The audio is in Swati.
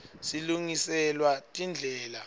silungiselwa tindlela